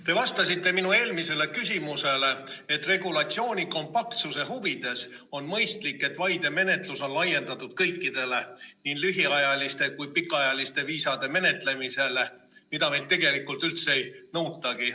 Te vastasite minu eelmisele küsimusele, et regulatsiooni kompaktsuse huvides on mõistlik, et vaidemenetlus on laiendatud kõikidele, nii lühiajaliste kui ka pikaajaliste viisade menetlemisele, mida meilt tegelikult üldse ei nõutagi.